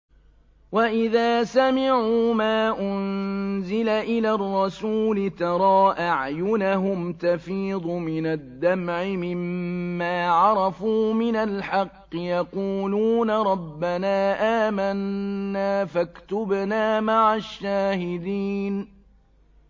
وَإِذَا سَمِعُوا مَا أُنزِلَ إِلَى الرَّسُولِ تَرَىٰ أَعْيُنَهُمْ تَفِيضُ مِنَ الدَّمْعِ مِمَّا عَرَفُوا مِنَ الْحَقِّ ۖ يَقُولُونَ رَبَّنَا آمَنَّا فَاكْتُبْنَا مَعَ الشَّاهِدِينَ